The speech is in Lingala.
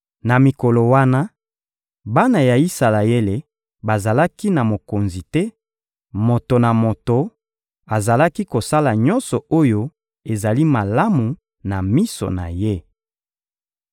Na mikolo wana, bana ya Isalaele bazalaki na mokonzi te; moto na moto azalaki kosala nyonso oyo ezali malamu na miso na ye.